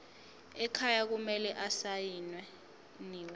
ekhaya kumele asayiniwe